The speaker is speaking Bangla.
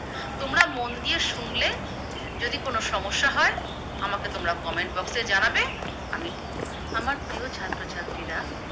তোমরা মন দিয়ে শুনলে, যদি কোনো সমস্যা হয় আমাকে তোমরা Comment box এ জানাবে। আমি আমার প্রিয় ছাত্রছাত্রীরা